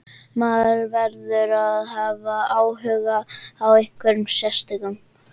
Maður verður að hafa áhuga á einhverjum sérstökum.